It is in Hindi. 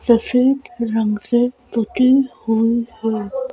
सफेद रंग से पुती हुई है।